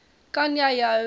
kan jy jou